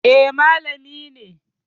Eh, malami ne